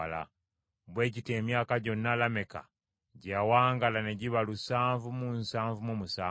Bwe gityo emyaka gyonna Lameka gye yawangaala ne giba lusanvu mu nsanvu mu musanvu.